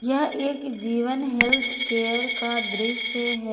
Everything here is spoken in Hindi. यह एक जीवन हेल्थ केयर का दृश्य है।